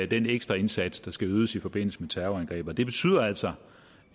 den ekstra indsats der skal ydes i forbindelse med terrorangrebet det betyder altså